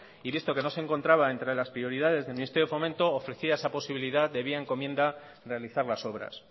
y visto que no se encontraba entre las prioridades del ministerio de fomento ofrecía esa posibilidad de vía encomienda realizar las obras